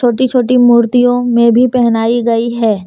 छोटी छोटी मूर्तियां में भी पहनाई गई है।